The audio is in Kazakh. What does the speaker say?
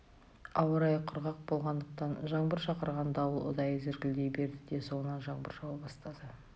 ауа райы құрғақ болғандықтан жаңбыр шақырған дауыл ұдайы зіркілдей берді де соңынан жаңбыр жауа бастады